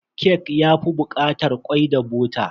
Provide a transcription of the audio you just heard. Kek na yafi bukatar kwai da bota.